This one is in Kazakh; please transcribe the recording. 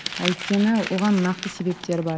өйткені оған нақты себептер бар